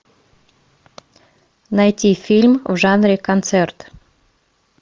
найти фильм в жанре концерт